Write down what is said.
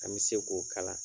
An be se k'o kala.